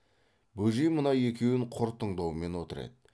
бөжей мына екеуін құр тыңдаумен отыр еді